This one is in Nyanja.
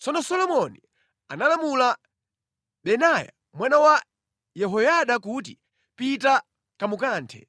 Tsono Solomoni analamula Benaya mwana wa Yehoyada kuti, “Pita, kamukanthe!”